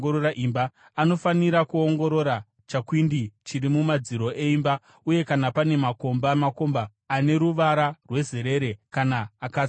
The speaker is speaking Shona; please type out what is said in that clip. Anofanira kuongorora chakwindi chiri mumadziro eimba uye kana pane makomba makomba ane ruvara rwezerere kana akatsvukuruka,